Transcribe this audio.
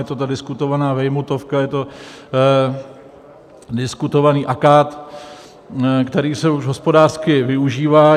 Je to ta diskutovaná vejmutovka, je to diskutovaný akát, který se už hospodářsky využívá.